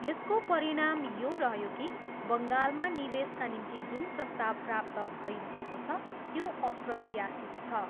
यसको परिणाम यो रह्यो कि बङ्गालमा निवेशका निम्ति जुन प्रस्ताव प्राप्त भइरहेको छ, त्यो अप्रत्याशित छ।